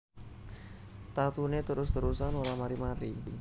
Tatune terus terusan ora mari mari